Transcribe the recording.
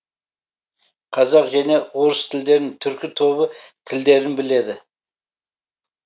қазақ және орыс тілдерін түркі тобы тілдерін біледі